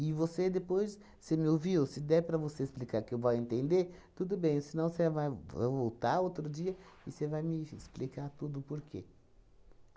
você depois, você me ouviu? Se der para você explicar que eu vá entender, tudo bem, senão você vai vo voltar outro dia e você vai me explicar tudo o porquê.